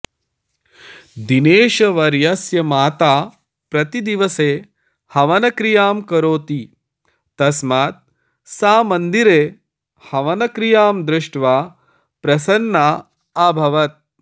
दिनेशवर्यस्य माता प्रतिदिवसे हवनक्रियां करोति तस्मात् सा मन्दिरे हवनक्रियां दृष्ट्वा प्रसन्ना अभवत्